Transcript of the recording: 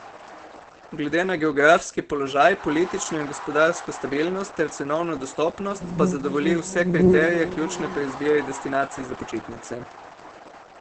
Glede na geografski položaj, politično in gospodarsko stabilnost ter cenovno dostopnost pa zadovolji vse kriterije, ključne pri izbiri destinacije za počitnice.